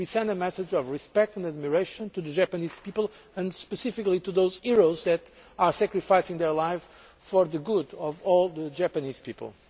a message of respect and admiration to the Japanese people and specifically to those heroes who are sacrificing their lives for the good of all Japanese people.